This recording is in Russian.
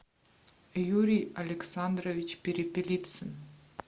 юрий александрович перепелицын